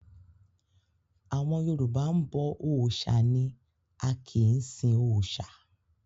Àwọn Yorùbá ń bọ òòṣà ni a kìí sin òòṣà.